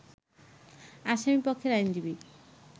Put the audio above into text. আসামিপক্ষের আইনজীবী